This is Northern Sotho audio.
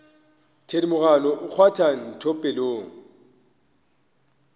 thedimogane o kgwatha ntho pelong